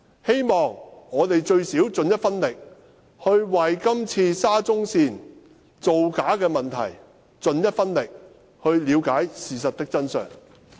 希望我們最低限度盡一分力為今次沙中線造假的問題出一分力，了解事實的真相。